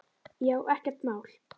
Já, ekkert mál!